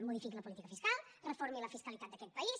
modifiqui la política fiscal reformi la fiscalitat d’aquest país